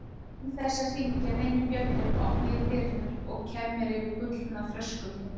Án þess að hringja neinum bjöllum opna ég dyrnar og kem mér yfir gullna þröskuldinn.